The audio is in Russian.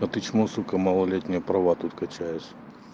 а ты чмо сука малолетняя права тут качаешь